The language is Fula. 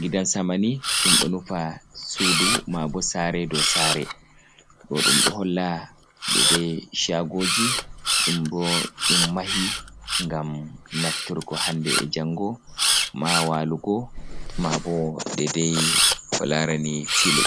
Gidan-sama ni ɗum ɗo nufa sudu maabo sare dow sare. Ɗo ɗum ɗo holla dedei shagoji nden bo ɗum mahi ngam naftirgo hande e'jango ma walugo, maabo dedai ko larani filu.